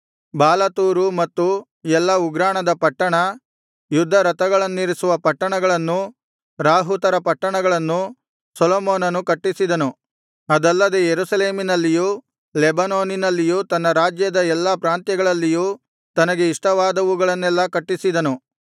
ಬಾಲಾತೊರು ಮತ್ತು ಎಲ್ಲಾ ಉಗ್ರಾಣದ ಪಟ್ಟಣ ಯುದ್ಧರಥಗಳನ್ನಿರಿಸುವ ಪಟ್ಟಣಗಳನ್ನೂ ರಾಹುತರ ಪಟ್ಟಣಗಳನ್ನೂ ಸೊಲೊಮೋನನು ಕಟ್ಟಿಸಿದನು ಅಲ್ಲದೆ ಯೆರೂಸಲೇಮಿನಲ್ಲಿಯೂ ಲೆಬನೋನಿನಲ್ಲಿಯೂ ತನ್ನ ರಾಜ್ಯದ ಎಲ್ಲಾ ಪ್ರಾಂತ್ಯಗಳಲ್ಲಿಯೂ ತನಗೆ ಇಷ್ಟವಾದವುಗಳನ್ನೆಲ್ಲಾ ಕಟ್ಟಿಸಿದನು